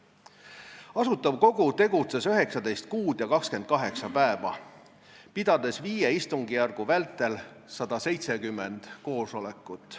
Asutav Kogu tegutses 19 kuud ja 28 päeva, pidades viie istungjärgu vältel 170 koosolekut.